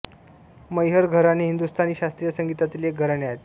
मैहर घराणे हिंदुस्तानी शास्त्रीय संगीतातील एक घराणे आहे